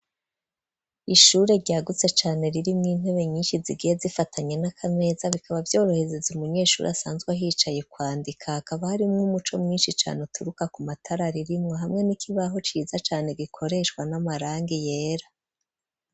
Ishure ryagutse cane ,ririmwo intebe nyinshi zigiye zifatanye n'akameza bikaba vyoroheza umunyeshuri asanzwe yicaye kwandika, hakaba harimwo umuco mwinshi cane ,uturuka ku matara ririmwo hamwe n'ikibaho ciza cane, gikoreshwa n'amarangi yera.